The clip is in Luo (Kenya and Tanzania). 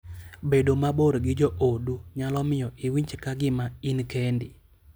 Bedo mabor gi joodu nyalo miyo iwinj ka gima in kendi.